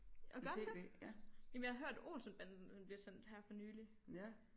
Gør den det jamen jeg har hørt Olsen Banden den blev sendt her for nylig